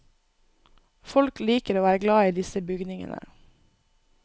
Folk liker og er glad i disse bygningene.